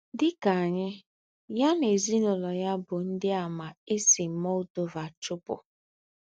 Dị ka anyị, ya na ezinụlọ ya bụ Ndịàmà e si Moldova chụpụ.